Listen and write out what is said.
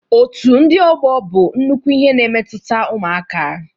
Otu ndị ọgbọ bụ nnukwu ihe na-emetụta ụmụaka